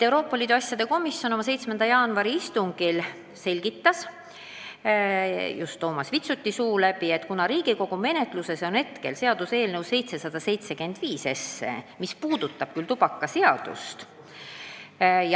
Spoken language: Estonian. Euroopa Liidu asjade komisjon selgitas oma 7. jaanuari istungil Toomas Vitsuti suu läbi, et Riigikogu menetluses on seaduseelnõu 775, mis puudutab tubakaseadust.